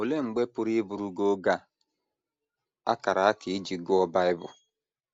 Olee mgbe pụrụ ịbụrụ gị oge a a kara aka iji gụọ Bible?